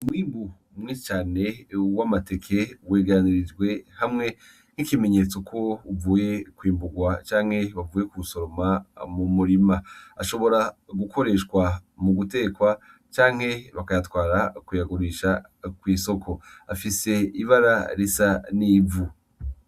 Umwimbu mwe cane ewe uwe amateke uweganirijwe hamwe nk'ikimenyetso kwo uvuye kwimburwa canke bavuye ku soroma mu murima ashobora gukoreshwa mu gutekwa canke bakayatwara kuyagurisha kw'isoko afise ibara risa n'ivu.